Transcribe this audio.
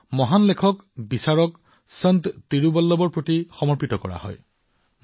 এই দিনটো মহান লেখকবিচাৰক সন্ত তিৰুৱল্লুৱৰদেৱৰ জীৱনটোৰ প্ৰতি উৎসৰ্গিত কৰা হয়